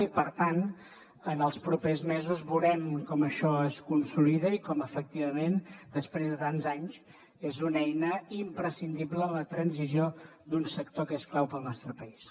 i per tant en els propers mesos veurem com això es consolida i com efectivament després de tants anys és una eina imprescindible en la transició d’un sector que és clau per al nostre país